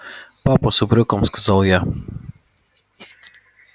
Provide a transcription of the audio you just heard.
папа с упрёком сказала я